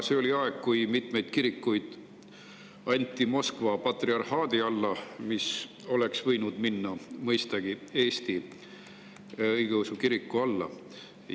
See oli aeg, kui mitmeid kirikuid anti Moskva patriarhaadi alla, kuigi need oleks võinud minna mõistagi Eesti õigeusu kiriku alla.